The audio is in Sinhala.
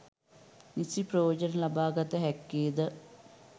නිසි ප්‍රයෝජන ලබා ගත හැක්කේ ද